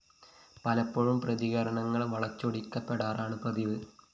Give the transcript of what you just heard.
പലപ്പോഴും പ്രതികരണങ്ങള്‍ വളച്ചൊടിക്കപ്പെടാറാണ് പതിവ്